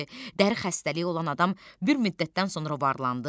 dəri xəstəliyi olan adam bir müddətdən sonra varlandı.